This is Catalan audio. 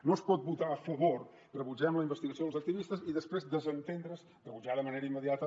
no es pot votar a favor de rebutgem la investigació dels activistes i després desentendre’s en rebutjar de manera immediata